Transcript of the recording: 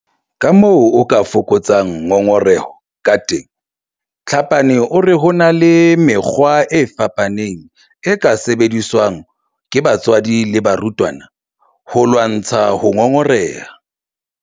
Kamoo o ka fokotsang ngongoreho kateng Tlhapane o re ho na le mekgwa e fapaneng e ka sebediswang ke batswadi le barutwana ho lwantsha ho ngongoreha.